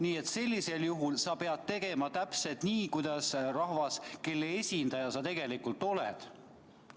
Nii et sellisel juhul pead sa tegema täpselt nii, nagu teeks rahvas, kelle esindaja sa tegelikult oled.